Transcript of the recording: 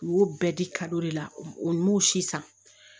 U y'o bɛɛ di de la n m'o si san